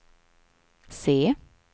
se